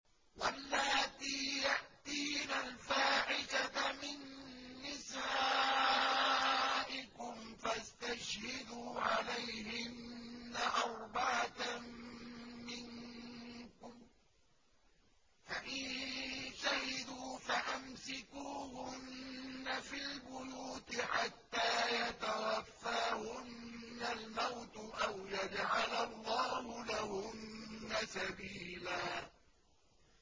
وَاللَّاتِي يَأْتِينَ الْفَاحِشَةَ مِن نِّسَائِكُمْ فَاسْتَشْهِدُوا عَلَيْهِنَّ أَرْبَعَةً مِّنكُمْ ۖ فَإِن شَهِدُوا فَأَمْسِكُوهُنَّ فِي الْبُيُوتِ حَتَّىٰ يَتَوَفَّاهُنَّ الْمَوْتُ أَوْ يَجْعَلَ اللَّهُ لَهُنَّ سَبِيلًا